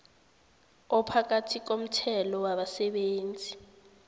ophakathi komthelo wabasebenzi